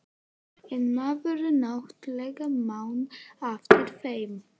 En maður náttúrlega man eftir þeim.